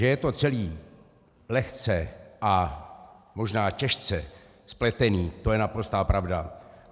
Že je to celé lehce, a možná těžce, spletené, to je naprostá pravda.